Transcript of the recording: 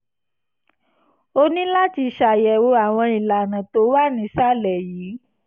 o ní láti ṣàyẹ̀wò àwọn ìlànà tó wà nísàlẹ̀ yìí